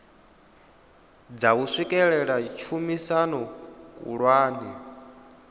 dza u swikelela tshumisano khulwane